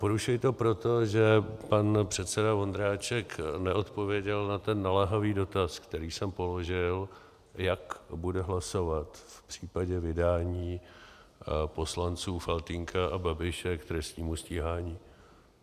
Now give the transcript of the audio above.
Porušuji to proto, že pan předseda Vondráček neodpověděl na ten naléhavý dotaz, který jsem položil - jak bude hlasovat v případě vydání poslanců Faltýnka a Babiše k trestním stíhání.